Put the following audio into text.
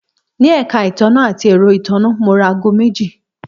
Ní èka ìtanná àti èro ìtanná, mo ra aago meji